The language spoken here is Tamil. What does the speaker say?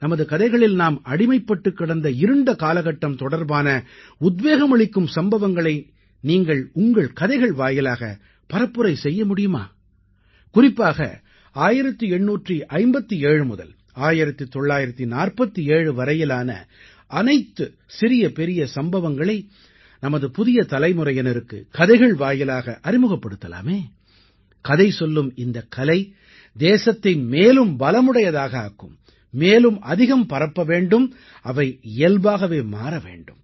நமது கதைகளில் நாம் அடிமைப்பட்டுக் கிடந்த இருண்ட காலகட்டம் தொடர்பான உத்வேகம் அளிக்கும் சம்பவங்களை நீங்கள் உங்கள் கதைகள் வாயிலாக பரப்புரை செய்ய முடியுமா குறிப்பாக 1857 முதல் 1947 வரையிலான அனைத்து சிறியபெரிய சம்பவங்களை நமது புதிய தலைமுறையினருக்கு கதைகள் வாயிலாக அறிமுகப்படுத்தலாமே கதை சொல்லும் இந்தக் கலை தேசத்தை மேலும் பலமுடையதாக ஆக்கும் மேலும் அதிகம் பரப்ப வேண்டும் அவை இயல்பாகவே மாற வேண்டும்